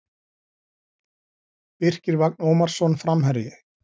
Birkir Vagn Ómarsson Framherji